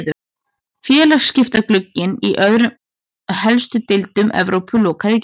Félagaskiptaglugginn í öðrum helstu deildum Evrópu lokaði í gær.